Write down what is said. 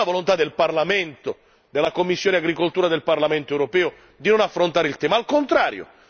quindi non c'è la volontà del Parlamento, della commissione agricoltura del Parlamento europeo di non affrontare il tema, al contrario!